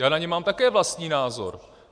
Já na ně mám také vlastní názor.